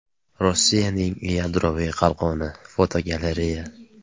Rossiyaning yadroviy qalqoni (fotogalereya).